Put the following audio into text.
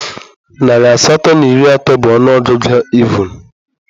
Narị asatọ na iri atọ bụ ọnụ ọgụgụ evụn